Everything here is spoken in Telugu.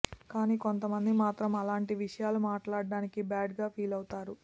కానీ కొంతమంది మాత్రం అలాంటి విషయాలు మాట్లాడటానికి బ్యాడ్ గా ఫీలవుతారు